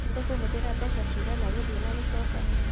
Tũkahũthĩra mbeca ta cigana gũthiĩ na gũcoka?